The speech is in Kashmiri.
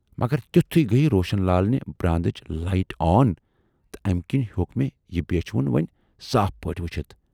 "مگر تِتھُے گٔیہِ روشن لالنہِ براندٕچ لایِٹ آن تہٕ امہِ کِنۍ ہیوک مےٚ یہِ بیچھِ وُن وۅنۍ صاف پٲٹھۍ وُچھِتھ۔